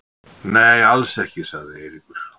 Nei, alls ekki sagði Eiríkur.